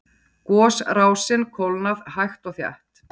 Gosrásin kólnað hægt og þétt